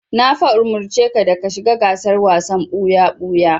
Na fa umurci ka da ka shiga gasar wasan ɓuya-ɓuya!